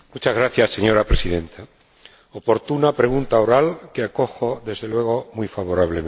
Señora Presidenta, oportuna pregunta oral que acojo, desde luego, muy favorablemente.